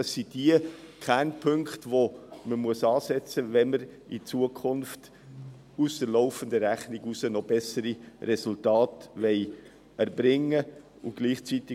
Dies sind die Kernpunkte, bei denen man ansetzen muss, wenn man in Zukunft bei der laufenden Rechnung bessere Resultate erreichen will.